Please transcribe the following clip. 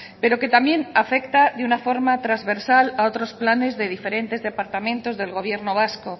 pero que también afecta de una forma trasversal a otros planes de diferentes departamentos del gobierno vasco